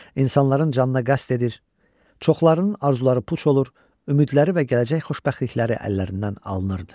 İnsanların canına qəsd edir, çoxlarının arzuları puç olur, ümidləri və gələcək xoşbəxtlikləri əllərindən alınırdı.